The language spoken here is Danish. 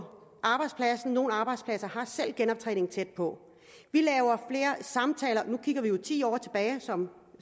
nogle arbejdspladser har selv genoptræning tæt på vi laver flere samtaler nu kigger vi jo ti år tilbage som